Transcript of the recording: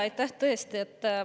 Aitäh!